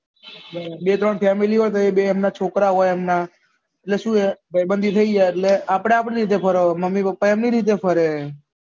બે ત્રણ family હોય તો એ બે એમના છોકરા હોય એમના એટલે શું છે ભાઈ બાંધી થઇ ગયા એટલે આમને આપડી રીતે ફરવાનું મમ્મી પાપા એમને રીતે ફરે